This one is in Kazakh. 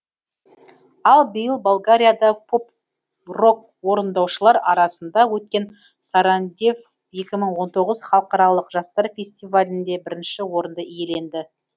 ал биыл болгарияда поп рок орындаушылар арасында өткен сарандев екі мың он тоғыз халықаралық жастар фестивалінде бірінші орынды иеленді